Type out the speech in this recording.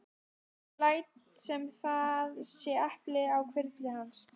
Leitið og þér munuð finna, var reglan sem gilti.